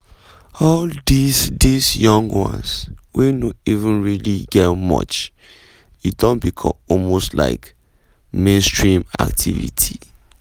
"all dis dis young ones wey no even really get much - e don become almost like mainstream activity